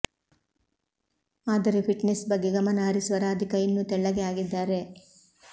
ಆದರೆ ಫಿಟ್ನೆಸ್ ಬಗ್ಗೆ ಗಮನ ಹರಿಸುವ ರಾಧಿಕಾ ಇನ್ನೂ ತೆಳ್ಳಗೆ ಆಗಿದ್ದಾರೆ